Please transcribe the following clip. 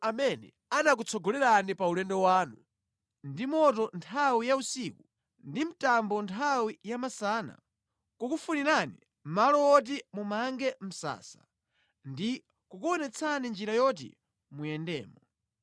amene anakutsogolerani pa ulendo wanu, ndi moto nthawi ya usiku ndi mtambo nthawi ya masana, kukufunirani malo woti mumange msasa ndi kukuonetsani njira yoti muyendemo.